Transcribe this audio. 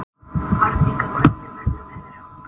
Arnika, hvernig verður veðrið á morgun?